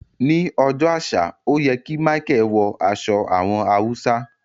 Ni ọjọ́ àṣà o yẹ ki Micheal wọ aṣọ àwọn Hausa.